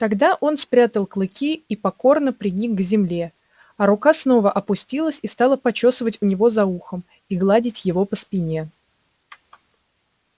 тогда он спрятал клыки и покорно приник к земле а рука снова опустилась и стала почёсывать у него за ухом и гладить его по спине